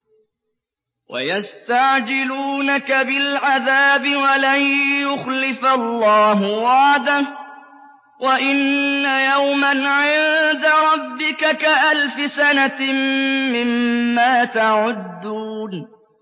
وَيَسْتَعْجِلُونَكَ بِالْعَذَابِ وَلَن يُخْلِفَ اللَّهُ وَعْدَهُ ۚ وَإِنَّ يَوْمًا عِندَ رَبِّكَ كَأَلْفِ سَنَةٍ مِّمَّا تَعُدُّونَ